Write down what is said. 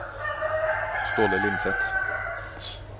Ståle Lindseth